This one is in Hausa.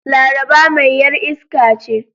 Laraba mai yar iska ce.